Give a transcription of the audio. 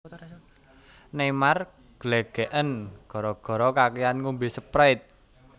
Neymar glegeken gara gara kakean ngombe Sprite